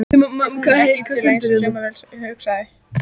Er hún ekki alveg eins og saumavél, hugsaði það.